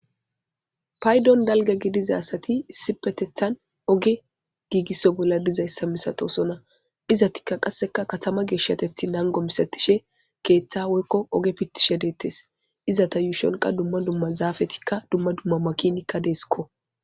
Payidon daliga gidiza asati issipetethan oge gigiso bolla dizayisa misatona izati qas katama geshatethi nago gidishin ketha woyiko oge pitishe detes izatia yushon duma duma zapetika duma duma makinatika de'esko